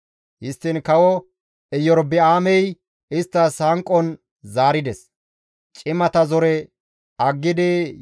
Histtiin kawo Erobi7aamey isttas hanqon zaarides. Cimata zore aggidi,